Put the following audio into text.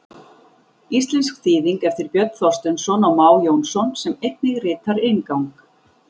Íslensk þýðing eftir Björn Þorsteinsson og Má Jónsson sem einnig ritar inngang.